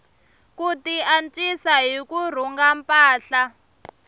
ku tiantswisa hi ku rhunga mpahla